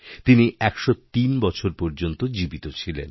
তিনি ১০৩বছর পর্যন্ত জীবিত ছিলেন